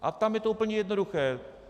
A tam je to úplně jednoduché.